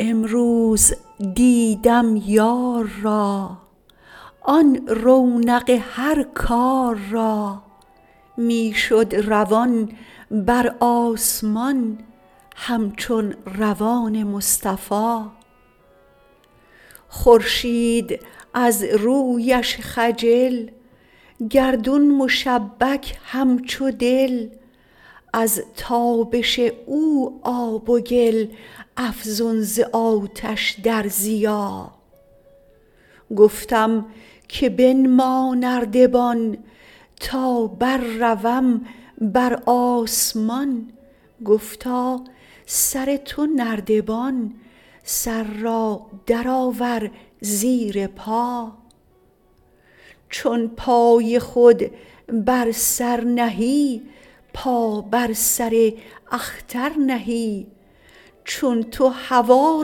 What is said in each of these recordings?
امروز دیدم یار را آن رونق هر کار را می شد روان بر آسمان همچون روان مصطفا خورشید از رویش خجل گردون مشبک همچو دل از تابش او آب و گل افزون ز آتش در ضیا گفتم که بنما نردبان تا برروم بر آسمان گفتا سر تو نردبان سر را درآور زیر پا چون پای خود بر سر نهی پا بر سر اختر نهی چون تو هوا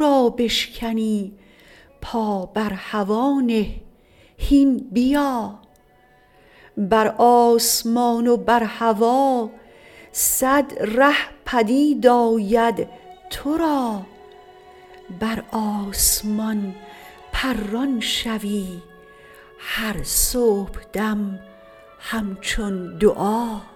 را بشکنی پا بر هوا نه هین بیا بر آسمان و بر هوا صد ره پدید آید تو را بر آسمان پران شوی هر صبحدم همچون دعا